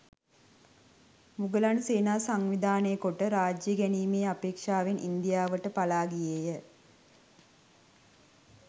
මුගලන් සේනා සංවිධානය කොට රාජ්‍යය ගැනීමේ අපේක්ෂාවෙන් ඉන්දියාවට පලා ගියේය.